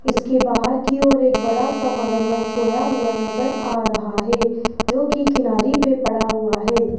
इसके बाहर की ओर एक बड़ा सा मगरमच्छ सोया हुआ नजर आ रहा है जो की किनारी पे पड़ा हुआ है।